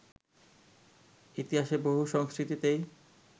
ইতিহাসে বহু সংস্কৃতিতেই